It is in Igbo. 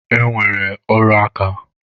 E nwere ọrụ aka.